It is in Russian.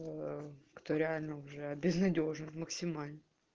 ээ кто реально уже безнадёжно максимально